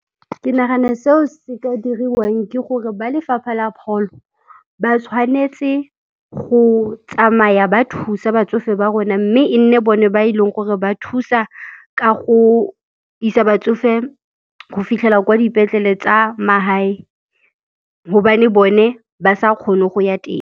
Ke nagana seo se ka diriwang ke gore ba lefapha la pholo ba tshwanetse go tsamaya ba thusa batsofe ba rona mme e nne bone ba eleng gore ba thusa ka go isa batsofe go fitlhela kwa dipetlele tsa magae hobane bone ba sa kgone go ya teng.